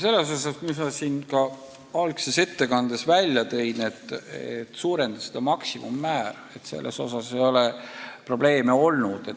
Selle eesmärgiga, mis ma siin ettekande alguses välja tõin, et tuleks maksimummäära suurendada, ei ole probleeme olnud.